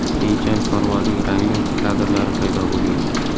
Keyinchalik parvozning rangli kadrlari paydo bo‘lgan.